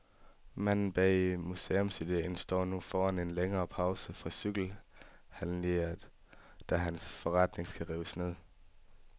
Manden bag museumsidéen står nu foran en længere pause fra cykelhandleriet, da hans forretning skal rives ned.